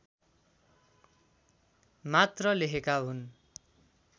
मात्र लेखेका हुन्